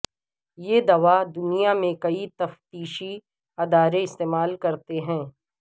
یہ دوا دنیا میں کئی تفتیشی ادارے استعمال کرتے ہیں